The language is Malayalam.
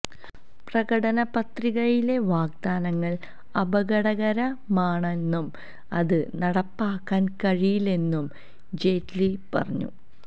പ്രകടനപത്രികയിലെ വാഗ്ദാനങ്ങള് അപകടകരമാണെന്നും അത് നടപ്പാക്കാന് കഴിയില്ലെന്നും ജെയ്റ്റ്ലി പറഞ്ഞു